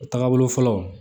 O tagabolo fɔlɔ